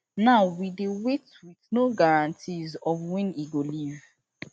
now we dey wait with no guarantees of wen e go leave